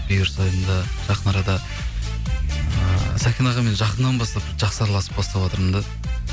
бұйырса енді жақын арада ы сәкен ағамен жақыннан бастап жақсы араласып баставатырмын да